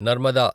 Narmada